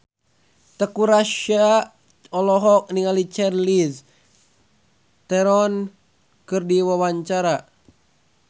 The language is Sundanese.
Teuku Rassya olohok ningali Charlize Theron keur diwawancara